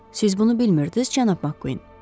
Siz bunu bilmirdiniz cənab McQuinn?